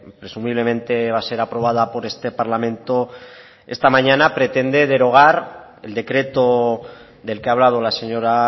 presumiblemente va a ser aprobada por este parlamento esta mañana pretende derogar el decreto del que ha hablado la señora